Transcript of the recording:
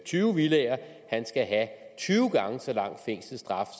tyve villaer skal have tyve gange så lang fængselsstraf